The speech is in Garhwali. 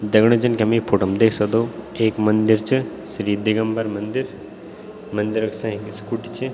दगडियों जन की हम ई फोटो म देख सक्दो एक मंदिर च श्री दिगंबर मंदिर मंदिरक सैक एक स्कूटी च।